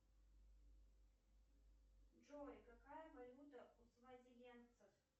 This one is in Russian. джой какая валюта у свазилендцев